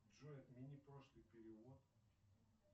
джой отмени прошлый перевод